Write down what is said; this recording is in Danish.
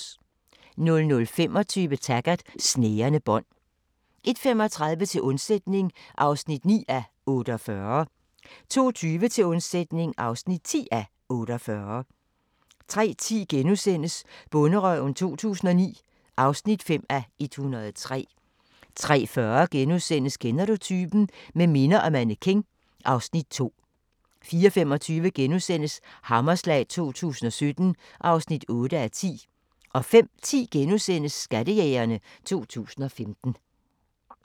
00:25: Taggart: Snærende bånd 01:35: Til undsætning (9:48) 02:20: Til undsætning (10:48) 03:10: Bonderøven 2009 (5:103)* 03:40: Kender du typen? – Med minder og mannequin (Afs. 2)* 04:25: Hammerslag 2017 (8:10)* 05:10: Skattejægerne 2015 *